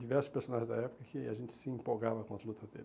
Diversos personagens da época que a gente se empolgava com as lutas deles.